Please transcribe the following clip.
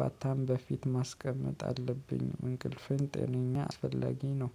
ባታም በፊት ማስቀመጥ አለብኝ። እንቅልፍን ጤነኛ አስፈላጊ ነው